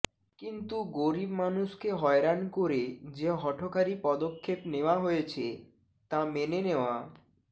কিন্তু গরিব মানুষকে হয়রান করে যে হঠকারী পদক্ষেপ করা হয়েছে তা মেনে নেওয়া